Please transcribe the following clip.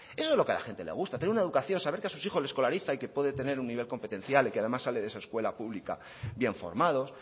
eso es lo que a la gente le gusta tener una educación saber que a sus hijos le escolariza y que puede tener un nivel competencial y que además sale de esa escuela pública bien formados